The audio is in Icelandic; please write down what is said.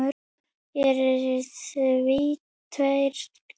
Hér eru því tveir kostir